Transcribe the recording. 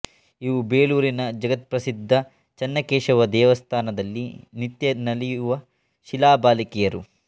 ಇವು ಬೇಲೂರಿನ ಜಗತ್ಪ್ರಸಿದ್ಧ ಚನ್ನಕೇಶವ ದೇವಸ್ಥಾನದಲ್ಲಿ ನಿತ್ಯ ನಲಿಯುವ ಶಿಲಾಬಾಲಿಕೆಯರು